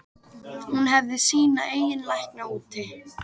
Hún hefði sína eigin lækna úti.